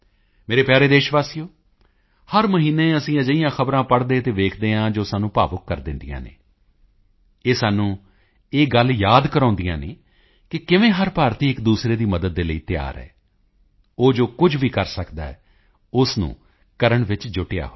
ਮੇਰੇ ਪਿਆਰੇ ਦੇਸ਼ਵਾਸੀਓ ਹਰ ਮਹੀਨੇ ਅਸੀਂ ਅਜਿਹੀਆਂ ਖ਼ਬਰਾਂ ਪੜ੍ਹਦੇ ਅਤੇ ਦੇਖਦੇ ਹਾਂ ਜੋ ਸਾਨੂੰ ਭਾਵੁਕ ਕਰ ਦਿੰਦੀਆਂ ਹਨ ਇਹ ਸਾਨੂੰ ਇਹ ਗੱਲ ਯਾਦ ਕਰਵਾਉਂਦੀਆਂ ਹਨ ਕਿ ਕਿਵੇਂ ਹਰ ਭਾਰਤੀ ਇੱਕਦੂਸਰੇ ਦੀ ਮਦਦ ਲਈ ਤਿਆਰ ਹੈ ਉਹ ਜੋ ਕੁਝ ਵੀ ਕਰ ਸਕਦਾ ਹੈ ਉਸ ਨੂੰ ਕਰਨ ਵਿੱਚ ਜੁਟਿਆ ਹੈ